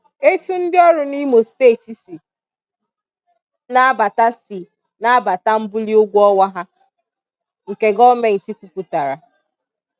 Etu ndị ọrụ n'Imo Steeti si n'abata si n'abata mbuli ụgwọ ọnwa ha nke gọọmenti kwupụtara